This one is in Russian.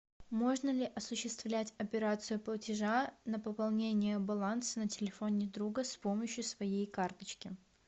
можно ли осуществлять операцию платежа на пополнение баланса на телефоне друга с помощью своей карточки